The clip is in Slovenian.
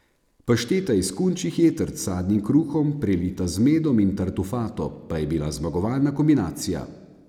Pašteta iz kunčjih jetrc s sadnim kruhom, prelita z medom in tartufato, pa je bila zmagovalna kombinacija.